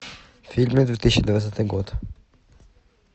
фильмы две тысячи двадцатый год